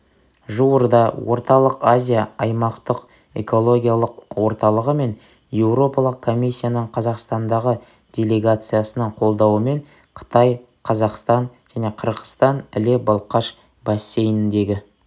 жуырда орталық азия аймақтық экологиялық орталығы мен еуропалық комиссияның қазақстандағы делегациясының қолдауымен қытай қазақстан және қырғызстан іле-балқаш бассейніндегі